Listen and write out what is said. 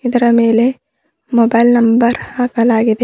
ಅದರ ಮೇಲೆ mobile number ಹಾಕಲಾಗಿದೆ.